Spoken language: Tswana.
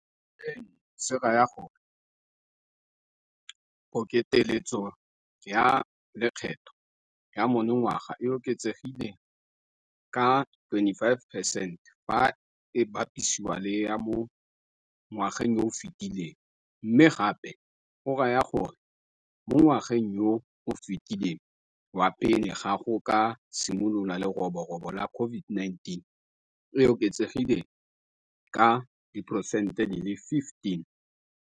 Seno se raya gore pokeletso ya lekgetho ya monongwaga e oketsegile ka 25 percent fa e bapisiwa le ya mo ngwageng yo o fetileng, mme gape go raya gore mo ngwageng yo o fetileng wa pele ga go ka simolola leroborobo la COVID-19 e oketsegile ka diperesente di le lesometlhano.